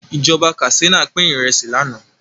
Ìjọba Katsina pin Ìrẹsí lànà